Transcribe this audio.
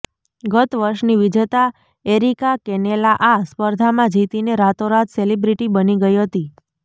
ગતવર્ષની વિજેતા Erika Canela આ સ્પર્ધામાં જીતીને રાતોરાત સેલિબ્રિટી બની ગઈ હતી